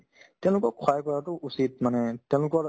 তেওঁলোকক সহায় কৰাতো উচিত মানে তেওঁলোকৰ